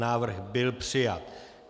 Návrh byl přijat.